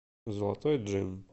золотой джин